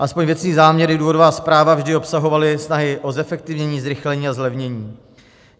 Aspoň věcný záměr i důvodová zpráva vždy obsahovaly snahy o zefektivní, zrychlení a zlevnění.